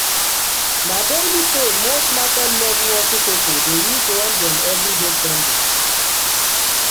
na daily pay most market level hustle pipo dey use run dem everyday spending.